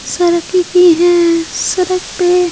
सरकी की है सरक पे ----